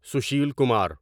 Sushil Kumar